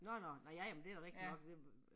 Nåh nåh nåh ja ja men det da rigtig nok det